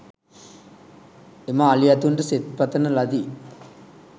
එම අලි ඇතුන්ට සෙත්පතන ලදී